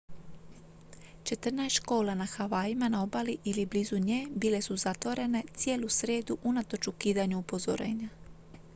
četrnaest škola na havajima na obali ili blizu nje bile su zatvorene cijelu srijedu unatoč ukidanju upozorenja